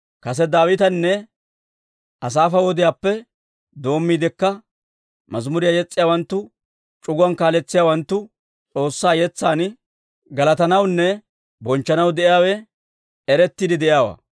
Kase Daawitanne Asaafa wodiyaappe doommiidekka mazimuriyaa yes's'iyaawanttu c'uguwaa kaaletsiyaawanttu S'oossaa yetsan galatanawunne bonchchanaw de'iyaawe erettiide de'iyaawaa.